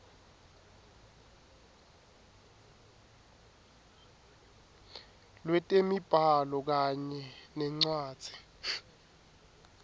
lwetemibhalo kanye nencwadzi